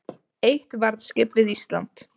Eitt varðskip við Ísland